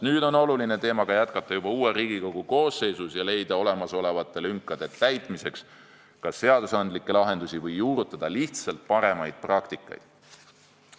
Nüüd on oluline, et teemaga jätkaks juba Riigikogu uus koosseis ja leiaks olemasolevate lünkade täitmiseks kas õiguslikke lahendusi või juurutaks lihtsalt paremaid praktikaid.